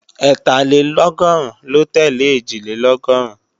Ẹ́tàlélọ́gọ́rùn ló tẹ́lẹ̀ Ẹ̀jìlélọ́gọ́rùn